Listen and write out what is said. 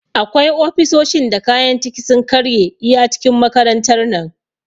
Akwai ofisoshin da kayan ciki sun karye iya cikin makarantar nan